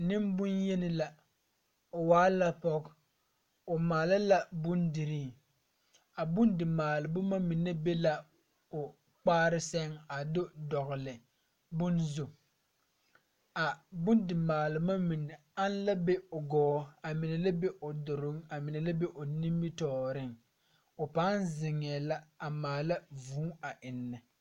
Neŋbonyeni la o waa la pɔge o maala la bondirii a bondimaale boma mine be la o kpaare sɛŋ a do dɔgle bone zu a bondimaale boma mine ane la be o gɔɔ a mine la be o duruŋ a mine la be o nimitooreŋ o paŋ zeŋɛɛ la a maala vūū a eŋnɛ.